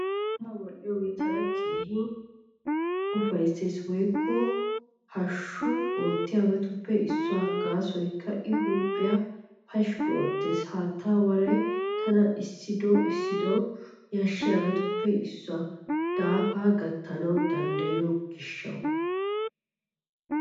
Haattaa wadhdhiyoogee tana keehi ufayssiyaa woykko hashshukka oottiyaabatuppe issuwaa gaasoykka I huuphiyaa pashkki oottees. Haattaa waray tana issido issido yashshiyoobatuppe issoy daafaa gattanaawu danddayiyo gishshataassa.